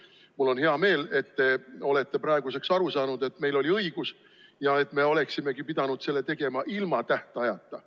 Mul on hea meel, et te olete praeguseks aru saanud, et meil oli õigus ja et me oleksimegi pidanud selle tegema ilma tähtajata.